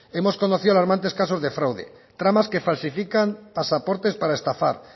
hemos conocido alarmantes casos de fraude tramas que falsifican pasaportes para estafar